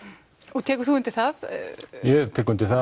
og tekur þú undir það ég tek undir það